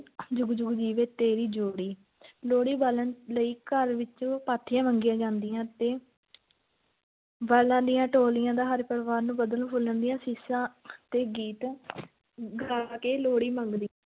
ਜੁਗ-ਜੁਗ ਜੀਵੇ ਤੇਰੀ ਜੋੜੀ ਲੋਹੜੀ ਬਾਲਣ ਲਈ ਘਰ ਵਿੱਚ ਪਾਥੀਆਂ ਮੰਗੀਆਂ ਜਾਂਦੀਆਂ ਤੇ ਬਾਲਾਂ ਦੀਆਂ ਟੋਲੀਆਂ ਦਾ ਹਰ ਪਰਿਵਾਰ ਨੂੰ ਵਧਣ-ਫੁੱਲਣ ਦੀਆਂ ਅਸੀਸਾਂ ਤੇ ਗੀਤ ਗਾ ਕੇ ਲੋਹੜੀ ਮੰਗਦੇ